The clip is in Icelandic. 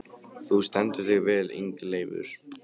Þú stendur þig vel, Ingileifur!